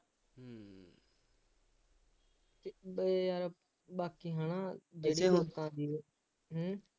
ਅਤੇ ਬਾਕੀ ਹੈ ਨਾ, ਇਹੋ ਜਿਹੇ ਲੋਕਾਂ ਦੀ ਹੂੰ